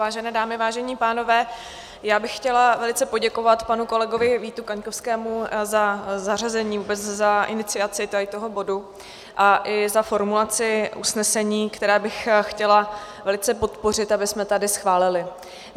Vážené dámy, vážení pánové, já bych chtěla velice poděkovat panu kolegovi Vítu Kaňkovskému za zařazení, vůbec za iniciaci tohoto bodu a i za formulaci usnesení, které bych chtěla velice podpořit, abychom tady schválili.